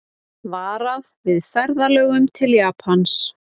Varað við ferðalögum til Japans